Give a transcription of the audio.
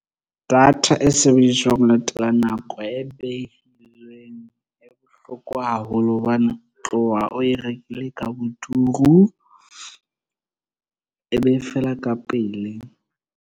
Data e sebediswang ho latela nako e behilweng e bohloko haholo hobane o tloha o e rekile ka boturu, e be e fela ka pele.